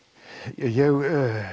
ég